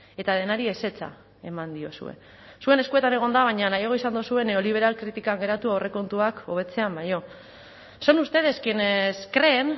eta denari ezetza eman diozue zuen eskuetan egon da baina nahiago izan duzue neoliberal kritikan geratu aurrekontuak hobetzean baino son ustedes quienes creen